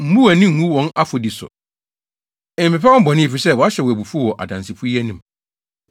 Mmu wʼani ngu wɔn afɔdi so. Mpepa wɔn bɔne, efisɛ wɔahyɛ wo abufuw wɔ adansifo yi anim.”